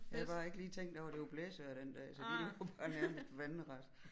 Jeg havde bare ikke lige tænkt over at det var blæsevejr den dag så de lå bare nærmest vandret